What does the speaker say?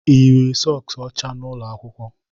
Ị yiri sọks ọcha n'ụlọ akwụkwọ?